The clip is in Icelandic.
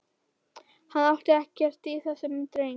Hann átti ekkert í þessum dreng.